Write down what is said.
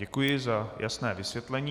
Děkuji za jasné vysvětlení.